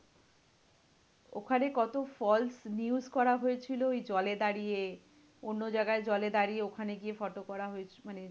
ওখানে কতো false news করা হয়েছিল ওই জলে দাঁড়িয়ে। অন্য জায়গায় জলে দাঁড়িয়ে ওখানে গিয়ে photo করা হয়েছে। মানে